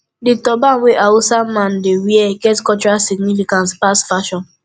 di turban wey hausa man dey wear get cultural significance pass fashion